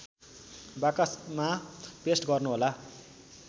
बाकसमा पेस्ट गर्नुहोला